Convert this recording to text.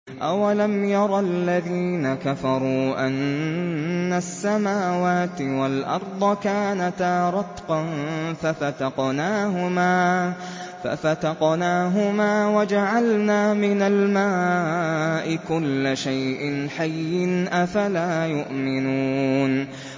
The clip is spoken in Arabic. أَوَلَمْ يَرَ الَّذِينَ كَفَرُوا أَنَّ السَّمَاوَاتِ وَالْأَرْضَ كَانَتَا رَتْقًا فَفَتَقْنَاهُمَا ۖ وَجَعَلْنَا مِنَ الْمَاءِ كُلَّ شَيْءٍ حَيٍّ ۖ أَفَلَا يُؤْمِنُونَ